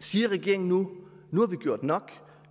siger regeringen nu nu har vi gjort nok